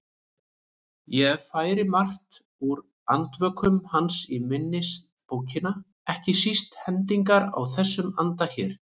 Ég færi margt úr Andvökum hans í minnisbókina, ekki síst hendingar í þessum anda hér